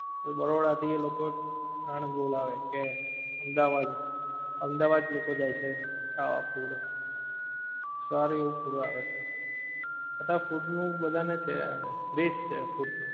પછી બરોડા થી એ લોકો આનંદ બોલાવે કે અમદાવાદ, અમદાવા દ લોકો જાએ છે ખાવા food, સારું એવું food આવે છે, અત્યારે food નું બધાં ને છે, best છે food